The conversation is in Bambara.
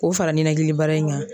K'o fara ninakili bara in kan.